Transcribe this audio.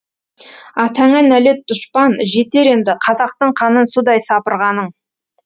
атаңа нәлет дұшпан жетер енді қазақтың қанын судай сапырғаның